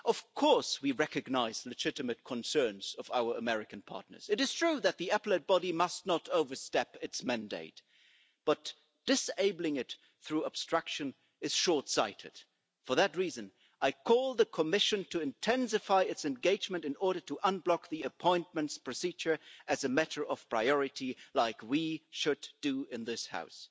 Of course, we recognise the legitimate concerns of our American partners it is true that the Appellate Body must not overstep its mandate. But disabling it through obstruction is short sighted. For that reason I call on the Commission to intensify its engagement in order to unblock the appointments procedure as a matter of priority, like we should do in this House.